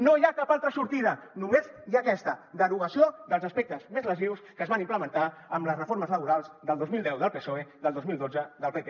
no hi ha cap altra sortida només hi ha aquesta derogació dels aspectes més lesius que es van implementar amb les reformes laborals del dos mil deu del psoe del dos mil dotze del pp